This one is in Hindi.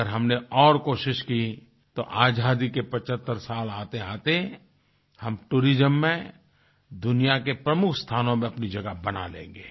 अगर हमने और कोशिश की तो आज़ादी के 75 साल आतेआते हम टूरिज्म में दुनिया के प्रमुख स्थानों में अपनी जगह बना लेंगे